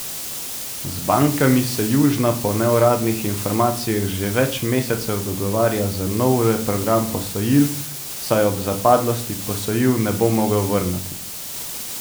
Z bankami se Južna po neuradnih informacijah že več mesecev dogovarja za nov reprogram posojil, saj ob zapadlosti posojil ne bo mogel vrniti.